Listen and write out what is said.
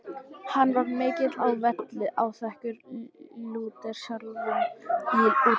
Hann var mikill á velli, áþekkur Lúter sjálfum í útliti.